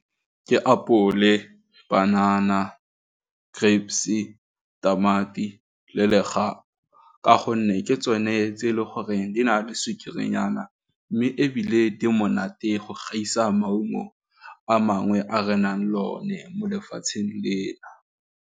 Ke apole, panana, grapes-i, tamati, le legapu ka gonne ke tsone tse e le gore di na le sukiri-nyana mme ebile di monate go gaisa maungo a mangwe a re nang lone mo lefatsheng lena.